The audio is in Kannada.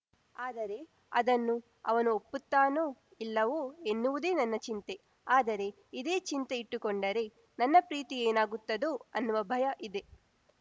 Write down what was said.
ಆದರೆ ಅದನ್ನು ಅವನು ಒಪ್ಪುತ್ತಾನೋ ಇಲ್ಲವೋ ಎನ್ನುವುದೇ ನನ್ನ ಚಿಂತೆ ಆದರೆ ಇದೇ ಚಿಂತೆ ಇಟ್ಟುಕೊಂಡರೆ ನನ್ನ ಪ್ರೀತಿ ಏನಾಗುತ್ತದೋ ಅನ್ನುವ ಭಯ ಇದೆ